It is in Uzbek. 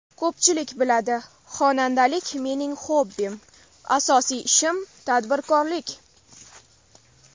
Ko‘pchilik biladi, xonandalik mening xobbim, asosiy ishim tadbirkorlik.